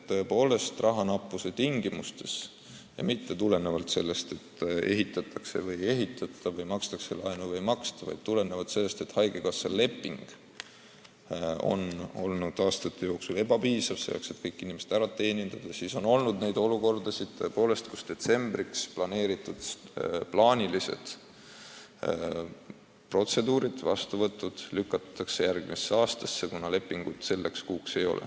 Tõepoolest, rahanappuse tingimustes – ja mitte tulenevalt sellest, et ehitatakse või ei ehitata, makstakse laenu tagasi või ei maksta, vaid tulenevalt sellest, et haigekassa leping on olnud aastate jooksul ebapiisav selleks, et kõik inimesed ära teenindada – on olnud olukordasid, kus detsembriks kavandatud plaanilised protseduurid-vastuvõtud lükatakse järgmisse aastasse, kuna lepingut selleks kuuks ei ole.